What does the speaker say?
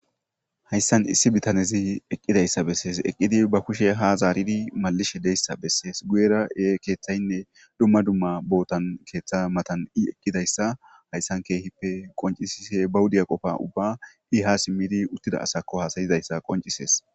hayssan issi bitanezi eqqidayssa bessees eqqidi ba kushe ha zaaridi malishe deyssa bessees guyera ee keeththaynne dumma dumma bootan keeththa matan i eqqidayssa hayssan keehippe qoncisise ba wudiya qofa ubba i ha simmidi uttida asakko haasayizayssa qoncisees